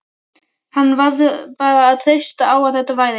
Hann varð bara að treysta á að þetta væri